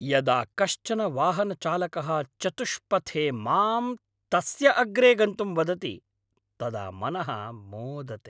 यदा कश्चन वाहनचालकः चतुष्पथे माम् तस्य अग्रे गन्तुं वदति तदा मनः मोदते।